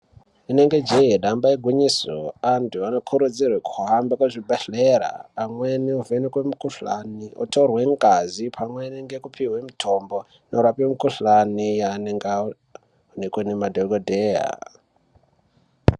Inenge jee, damba igwinyiso, antu anokurudzirwe kuhambe kuzvibhehlera amweni ovhenekwe mikhuhlani, otorwe ngazi pamwene ngekupiwe mitombo inorape mikhuhlane yaanenge anayo nekuone madhogodheya.